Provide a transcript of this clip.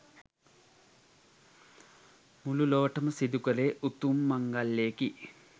මුළු ලොවටම සිදු කළේ උතුම් මංගලයකි.